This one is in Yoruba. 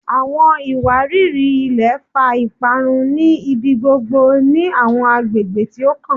Awọn iwariri-ilẹ fa iparun ni ibigbogbo ni awọn agbegbe ti o kan